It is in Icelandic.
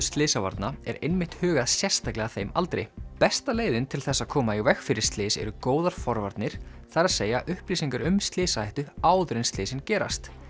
slysavarna er einmitt hugað sérstaklega að þeim aldri besta leiðin til þess að koma í veg fyrir slys eru góðar forvarnir það er að upplýsingar um slysahættu áður en slysin gerast